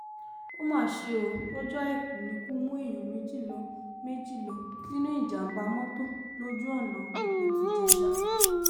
ó mà ṣe o lọ́jọ́ àìkú nìkú mú èèyàn méjì lọ méjì lọ nínú ìjàm̀bá mọ́tò lójú-ọ̀nà ìpẹ̀tùjẹsà